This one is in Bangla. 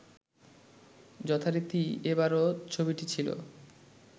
যথারীতি এবারও ছবিটি ছিল